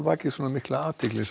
vakið mikla athygli